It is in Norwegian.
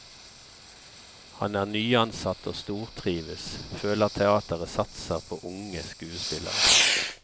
Han er nyansatt og stortrives, føler teateret satser på unge skuespillere.